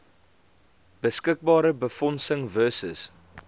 beskikbare befondsing versus